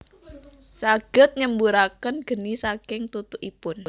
Saged nyemburaken geni saking tutukipun